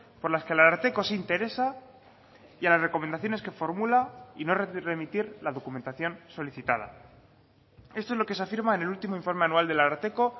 por las que el ararteko se interesa y a las recomendaciones que formula y no remitir la documentación solicitada esto es lo que se afirma en el último informe anual del ararteko